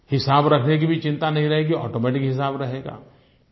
हिसाब रखने की भी चिंता नहीं रहेगी ऑटोमेटिक हिसाब रहेगा